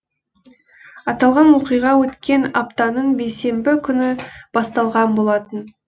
аталған оқиға өткен аптаның бейсенбі күні басталған болатын